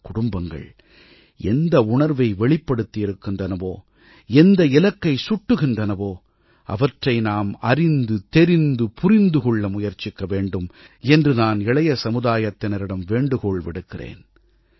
இந்தக் குடும்பங்கள் எந்த உணர்வை வெளிப்படுத்தியிருக்கின்றனவோ எந்த இலக்கை சுட்டுகின்றனவோ அவற்றை நாம் அறிந்து தெரிந்து புரிந்து கொள்ள முயற்சிக்கவேண்டும் என்று நான் இளைய சமுதாயத்தினரிடம் வேண்டுகோள் விடுக்கிறேன்